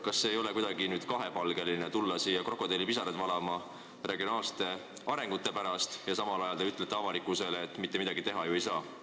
Kas ei ole kuidagi kahepalgeline tulla siia valama krokodillipisaraid regionaalsete arengute pärast, kui te samal ajal ütlete avalikkusele, et mitte midagi teha ju ei saa?